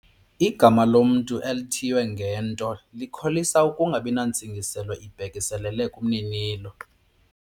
Igama lomntu elithiywe ngento likholisa ukungabi nantsingiselo ibhekiselele kumninilo.